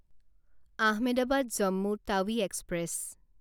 Ahmedabad Jammu Tawi express